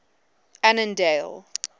annandale